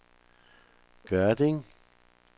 Gørding